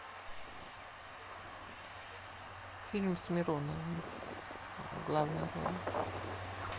фильм с мироновым в главной роли